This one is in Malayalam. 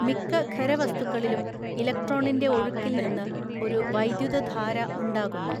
മിക്ക ഖര വസ്തുക്കളിലും ഇലക്ട്രോണിൻ്റെ ഒഴുക്കിൽ നിന്ന് ഒരു വൈദ്യുതധാര ഉണ്ടാകുന്നു.